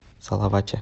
салавате